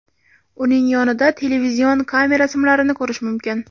Uning yonida televizion kamera simlarini ko‘rish mumkin.